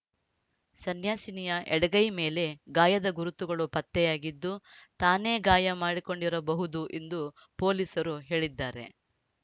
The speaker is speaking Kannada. ಸನ್ಯಾಸಿನಿಯ ಎಡಗೈ ಮೇಲೆ ಗಾಯದ ಗುರುತುಗಳು ಪತ್ತೆಯಾಗಿದ್ದು ತಾನೇ ಗಾಯ ಮಾಡಿಕೊಂಡಿರಬಹುದು ಎಂದು ಪೊಲೀಸರು ಹೇಳಿದ್ದಾರೆ